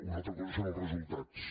una altra cosa són els resultats